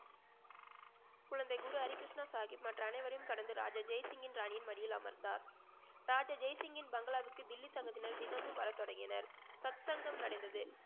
குழந்தை குரு ஹரிகிருஷ்ணா சாஹிப் மற்ற அனைவரையும் கடந்து ராஜா ஜெய்சிங்கின் ராணியின் மடியில் அமர்ந்தார் ராஜா ஜெயசிங்கின் பங்களாவுக்கு டெல்லி சங்கத்தினர் தினமும் வரத்தொடங்கினர் சத்சங்கம் நடந்தது